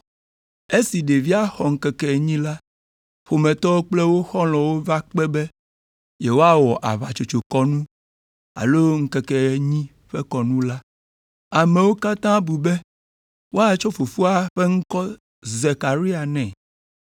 Esi ɖevia xɔ ŋkeke enyi la, ƒometɔwo kple wo xɔlɔ̃wo va kpe be yewoawɔ aʋatsotsokɔnu alo ŋkeke enyi ƒe kɔnu la. Amewo katã bu be woatsɔ fofoa ƒe ŋkɔ Zekaria nɛ,